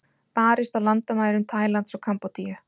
Barist á landamærum Tælands og Kambódíu